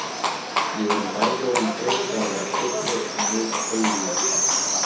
Við erum bæði orðin þreytt á að vera kurteis en auðvitað þegi ég.